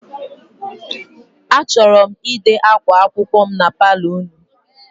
Achọrọ m ide akwa akwụkwọ m na paalọ unu.